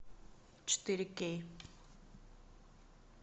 четыре кей